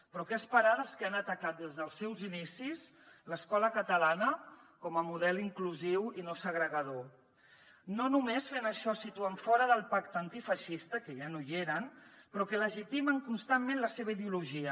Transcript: però què cal esperar dels que han atacat des dels seus inicis l’escola catalana com a model inclusiu i no segregador no només fent això es situen fora del pacte antifeixista que ja no hi eren però que legitimen constantment la seva ideologia